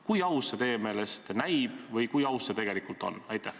Kui aus see teie meelest näib või kui aus see tegelikult on?